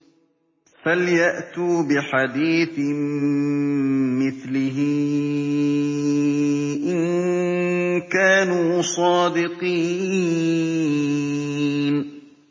فَلْيَأْتُوا بِحَدِيثٍ مِّثْلِهِ إِن كَانُوا صَادِقِينَ